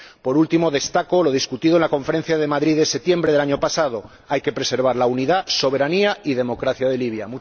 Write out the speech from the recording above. Por último, destaco lo discutido en la Conferencia de Madrid de septiembre del año pasado hay que preservar la unidad, soberanía y democracia de Libia.